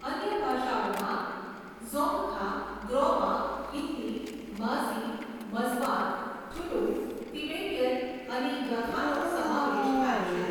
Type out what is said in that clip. અન્ય ભાષાઓમાં ઝોંગખા, ગ્રોમા, હિન્દી, માઝી, મઝવાર, થુલુંગ, તિબેટિયન અને યખાનો સમાવેશ થાય છે.